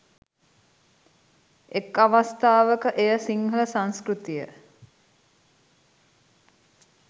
එක් අවස්ථාවක එය සිංහල සංස්කෘතිය